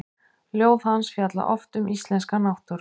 Ljóð hans fjalla oft um íslenska náttúru.